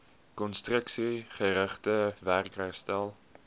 konstruksiegerigte werk herstel